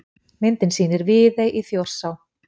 Myndin sýnir Viðey í Þjórsá.